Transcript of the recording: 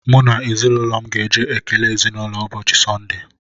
M na ezinụlọ m ga-eje ekele ezinụlọ ụbọchị sonde.